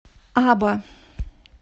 аба